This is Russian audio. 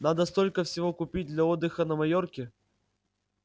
надо столько всего купить для отдыха на майорке